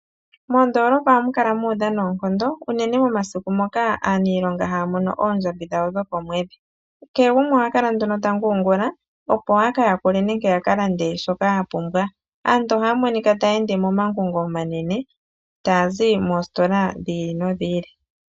Moondolopa ohamu kala muudha noonkondo, unene momasiku ngoka aaniilonga haya mono oondjambi dhawo dhokomwedhi. Kehe gumwe ohakala nduno ta nguungula, opo yaka yakule nenge yakalande shoka yapumbwa. Aantu ohaya monika taya ende momangungo omanene, taya zi moositola dhi ili nodhi ili.